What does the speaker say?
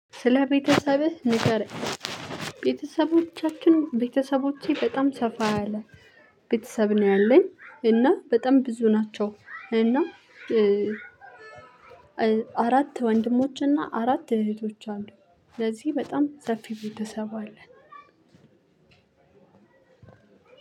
ስለ ቤተሰብህ ንገረኝ። ቤተሰቦቻችን ቤተሰቦቼ በጣም ሰፋ ያለ ቤተሰብ ነው ያለኝ። እና በጣም ብዙ ናቸው። እና አራት ወንድሞችና አራት እህቶች አሉኝ። ስለዚህ በጣም ሰፊ ቤተሰብ አለ።